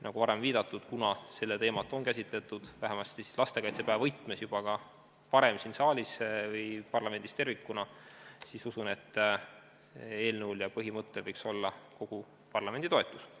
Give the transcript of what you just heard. Nagu varem viidatud, kuna seda teemat on käsitletud, vähemasti lastekaitsepäeva võtmes, juba ka varem siin saalis või parlamendis tervikuna, usun, et eelnõul ja põhimõttel võiks olla kogu parlamendi toetus.